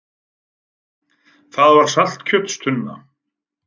Það var saltkjötstunna.